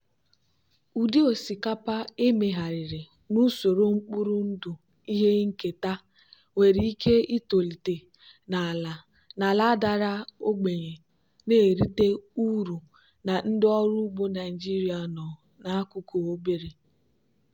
ụdị osikapa emegharịrị n'usoro mkpụrụ ndụ ihe nketa nwere ike itolite na ala dara ogbenye na-erite uru na ndị ọrụ ugbo naijiria nọ n'akụkụ obere.